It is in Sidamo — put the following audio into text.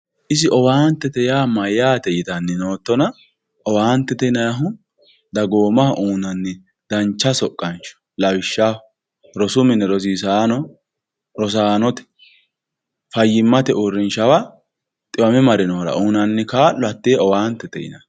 isi owaantete yaa mayaate yitanni nootona owaantete yinayiihu dagoomaho uuyiinanni dancha soqqansho lawishshaho rosu mine rosiisaano rosaanote fayyimmate uurinshawa xiwame marinoora uuyiinanni kaalo hatee owaantete yinanni.